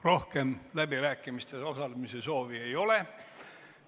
Rohkem läbirääkimistes osalemise soovi ei ole.